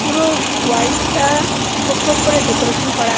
পুরো উম ওয়ালটা খোপ খোপ করে ডেকোরেশন করা--